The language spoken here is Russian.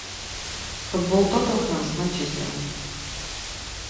футбол тоттенхэм с манчестером